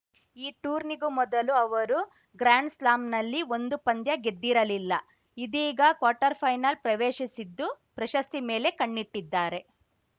ಈ ಟೂರ್ನಿಗೂ ಮೊದಲು ಅವರು ಗ್ರ್ಯಾಂಡ್‌ಸ್ಲಾಂನಲ್ಲಿ ಒಂದೂ ಪಂದ್ಯ ಗೆದ್ದಿರಲಿಲ್ಲ ಇದೀಗ ಕ್ವಾರ್ಟರ್‌ ಫೈನಲ್‌ ಪ್ರವೇಶಿಸಿದ್ದು ಪ್ರಶಸ್ತಿ ಮೇಲೆ ಕಣ್ಣಿಟ್ಟಿದ್ದಾರೆ